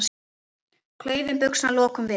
Klaufum buxna lokum við.